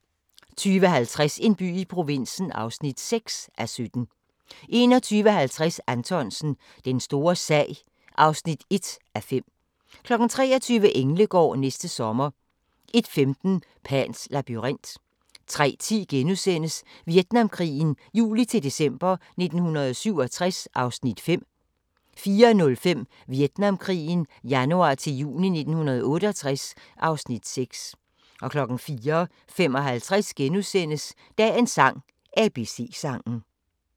20:50: En by i provinsen (6:17) 21:50: Anthonsen – Den store sag (1:5) 23:00: Englegård – næste sommer 01:15: Pans labyrint 03:10: Vietnamkrigen juli-december 1967 (Afs. 5)* 04:05: Vietnamkrigen januar-juni 1968 (Afs. 6) 04:55: Dagens sang: ABC-sangen *